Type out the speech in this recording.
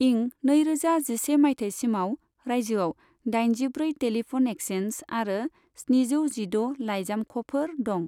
इं नैरोजा जिसे माइथायसिमाव रायजोयाव दाइनजिब्रै टेलिफन एक्सचेन्ज आरो स्निजौ जिद' लाइजामख'फोर दं।